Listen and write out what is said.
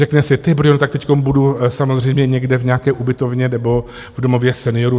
Řekne si: "Tý brďo, tak teďko budu samozřejmě někde v nějaké ubytovně nebo v domově seniorů?".